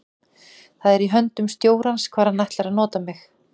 Það er í höndum stjórans hvar hann ætlar að nota mig.